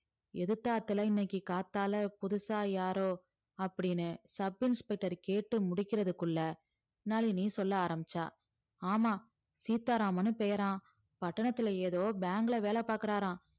எதுத்தாத்துல இன்னைக்கி காத்தால புதுசா யாரோ அப்டின்னு sub inspector கேட்டு முடிக்கறதுக்குள நளினி சொல் ஆரம்பிச்சா ஆமா சீத்தா ராமன்னு பேரா பட்டணத்துல ஏதோ bank ல வேலபாக்குரார